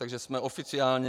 Takže jsme oficiálně.